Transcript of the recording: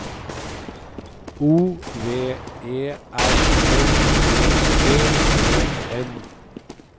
O V E R L E G E N